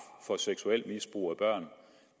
for seksuelt misbrug af børn